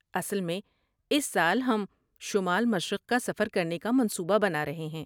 اصل میں، اس سال ہم شمال مشرق کا سفر کرنے کا منصوبہ بنا رہے ہیں۔